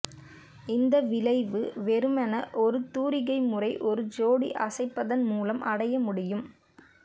இந்த விளைவு வெறுமனே ஒரு தூரிகை முறை ஒரு ஜோடி அசைப்பதன் மூலம் அடைய முடியும்